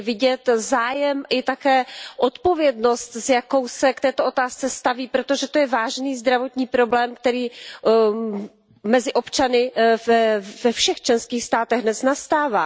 Je vidět zájem i také odpovědnost, s jakou se k této otázce staví, protože to je vážný zdravotní problém, který mezi občany ve všech členských státech dnes nastává.